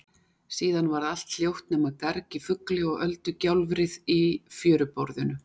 Síðan varð allt hljótt nema garg í fugli og öldugjálfrið í fjöruborðinu.